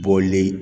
Bɔli